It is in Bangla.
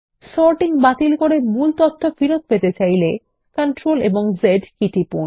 সর্টিং বাতিল করে মূল তথ্য পেতে চাইলে CTRL Z কী টিপুন